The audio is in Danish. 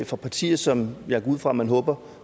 fra partier som jeg går ud fra at man håber